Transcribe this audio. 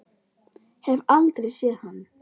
Hef aldrei séð hann.